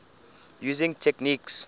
using techniques